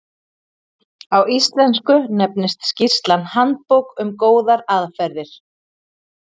Á íslensku nefnist skýrslan Handbók um góðar aðferðir.